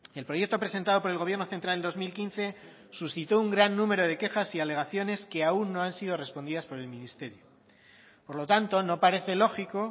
el proyecto presentado por el gobierno central en dos mil quince suscitó un gran número de quejas y alegaciones que aún no han sido respondidas por el ministerio por lo tanto no parece lógico